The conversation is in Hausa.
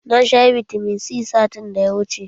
Na sha bitamin C satin da ya wuce